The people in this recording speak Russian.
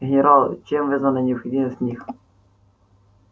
генерал чем вызвана необходимость в них